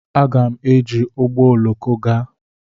M ga-eji ụgbọ oloko gaa.